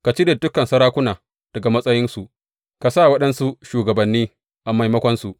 Ka cire dukan sarakuna daga matsayinsu ka sa waɗansu shugabanni a maimakonsu.